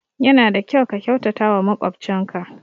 Ya na da kyau ka kyautata wa makwabcin ka